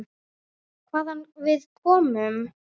Hvaðan við komum.